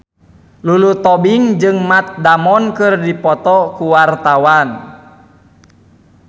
Lulu Tobing jeung Matt Damon keur dipoto ku wartawan